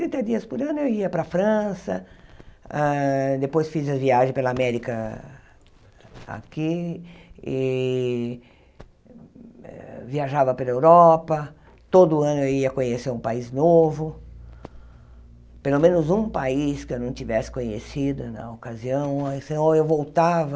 Trinta dias por ano eu ia para a França, depois fiz as viagens pela América aqui, e viajava pela Europa, todo ano eu ia conhecer um país novo, pelo menos um país que eu não tivesse conhecido na ocasião, ou eu voltava,